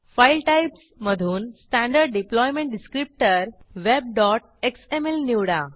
file Typesमधून standard deployment Descriptorwebएक्सएमएल निवडा